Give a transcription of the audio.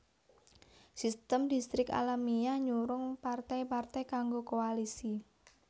Sistem Distrik alamiah nyurung partai partai kanggo koalisi